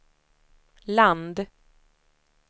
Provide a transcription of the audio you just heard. land